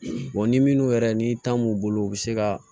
ni minnu yɛrɛ ni ta m'u bolo u bɛ se ka